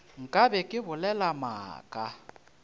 nka be ke bolela maaka